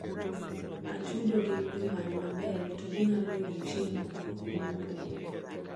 atudo gin jomany maber to ginyalo yudo chiemo e kuonde mopogore